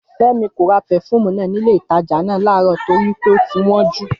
Fẹ́mi kò ra pefúùmù náà nílé ìtajà náà láàárọ̀ torí pé ó ti wọ́n jù